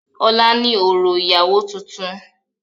Ọ̀la ni òrò ìyàwó tuntun.